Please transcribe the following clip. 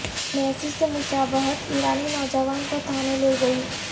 Messi سے مشابہت ایرانی نوجوان کو تھانے لے گئی